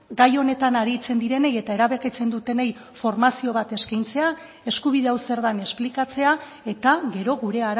gai honetan aritzen direnei eta erabakitzen dutenei formazio bat eskaintzea eskubide hau zer den esplikatzea eta gero gure